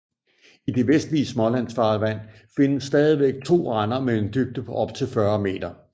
I det vestlige Smålandsfarvand findes stadigvæk to render med en dybde på op til 40 meter